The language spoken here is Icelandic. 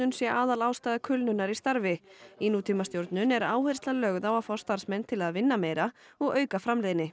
sé aðalástæða kulnunar í starfi í nútímastjórnun er áherslan lögð á að fá starfsmenn til að vinna meira og auka framleiðni